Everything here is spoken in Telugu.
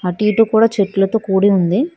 అటు ఇటు కూడ చెట్లతో కూడి ఉంది.